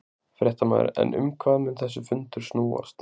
Fréttamaður: En um hvað mun þessi fundur snúast?